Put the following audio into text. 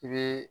I bɛ